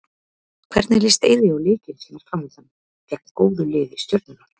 Hvernig líst Eiði á leikinn sem er framundan, gegn góðu lið Stjörnunnar?